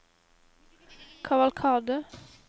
kavalkade